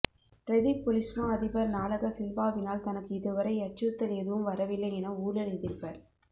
பிரதிப் பொலிஸ்மா அதிபர் நாலக சில்வாவினால் தனக்கு இதுவரை அச்சுறுத்தல் எதுவும் வரவில்லை என ஊழல் எதிர்ப